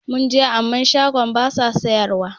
Mun je amma shagon basa sayar wa